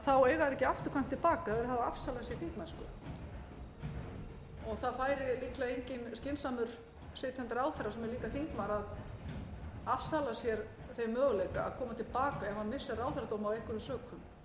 þá eiga þeir ekki afturkvæmt til baka ef þeir hafa afsalað sér þingmennsku og það færi líklega engin skynsamur sitjandi ráðherra sem er líka þingmaður að afsala sér þeim möguleika að koma til baka ef hann missir ráðherradóm af einhverjum sökum sú er